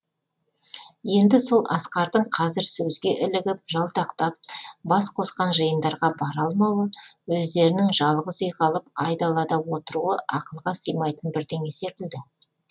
енді сол асқардың қазір сөзге ілігіп жалтақтап бас қосқан жиындарға бара алмауы өздерінің жалғыз үй қалып айдалада отыруы ақылға сыймайтын бірдеңе секілді